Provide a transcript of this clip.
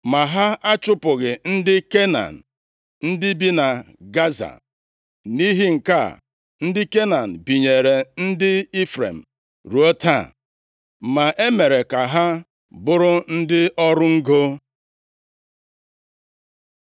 Ma ha achụpụghị ndị Kenan ndị bi na Gaza. + 16:10 \+xt Jos 15:63; 17:12-13; Nkp 1:29\+xt* Nʼihi nke a, ndị Kenan binyere ndị Ifrem ruo taa, ma e mere ka ha bụrụ ndị ọrụ ngo.